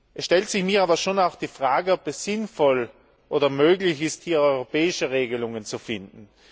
Es stellt sich mir aber auch die Frage, ob es sinnvoll oder möglich ist, hier europäische Regelungen zu finden.